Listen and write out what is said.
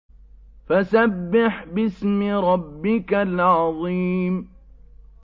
فَسَبِّحْ بِاسْمِ رَبِّكَ الْعَظِيمِ